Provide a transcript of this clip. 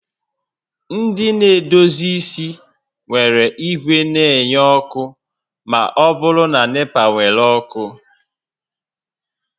Ndị na-edozi isi nwere igwe na-enye ọkụ ma ọ bụrụ na NEPA were ọkụ